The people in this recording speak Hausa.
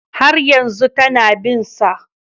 Har yanzu tana bin sa